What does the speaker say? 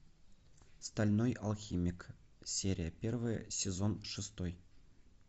стальной алхимик серия первая сезон шестой